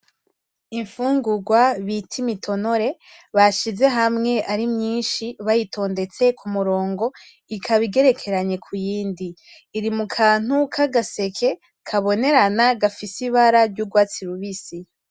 Imfungurwa bita Imitonore ,bashize hamwe ari myinshi bayitondetse kumurongo, ikaba igerekeranye kuyindi .iri mukantu kagaseke kabonerana gafise ibara risa n'urwatsi rubisi.